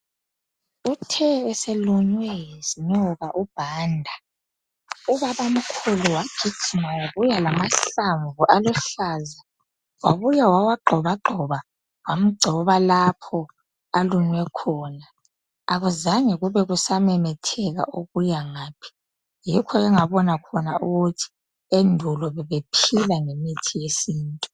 Uthe eselunywe yinyoka uBhanda ubabamkhulu wagiljima wabuya lamahlamvu aluhlaza wabuya wawagxobagxoba wamgcoba lapho alunywe khona akuzange kube kusamemetheka ukuyangaphi. Yikho engabona khona ukuthi endulo bebephila ngemithi yesintu.